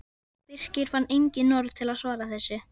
Birkir fann engin orð til að svara þessu.